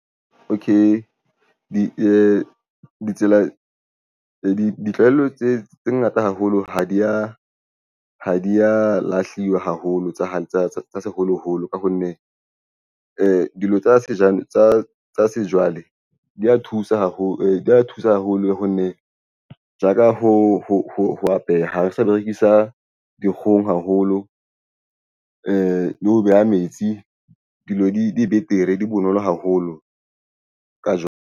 Okay, ditsela ditlwaelo tse ngata haholo ha di ya lahliwa haholo tsa hae tsa seholoholo. Ka ho nne dilo tsa sejwale di ya thusa haholo di ya thusa haholo ho nne ja ka ho apeha ha ho sa berekisa dikgong haholo le ho beha metsi. Dilo di be betere haholo ka jwang.